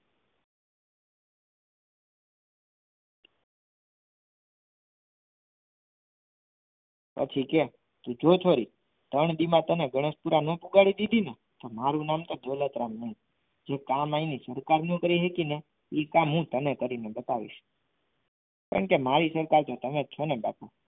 પછી કે જો છોરી ત્રણ દી માં તને ગણેશ પુરા ના પહોંચાડી દીધી ને તો મારું નામ દોલતરામ નહીં જે કામ અહીંની સરકાર ના કરી શકી ને એ કામ હું તને કરીને બતાવીશ પણ કે મારી સરકાર તો તમે જ છો ને બાપુ.